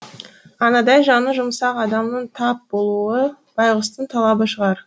анадай жаны жұмсақ адамның тап болуы байғұстың талабы шығар